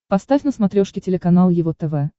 поставь на смотрешке телеканал его тв